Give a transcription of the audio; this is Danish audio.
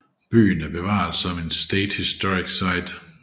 Byen er bevaret som en State Historic Site